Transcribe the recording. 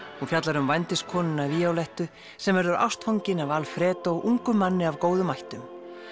hún fjallar um vændiskonuna sem verður ástfangin af Alfredo ungum manni af góðum ættum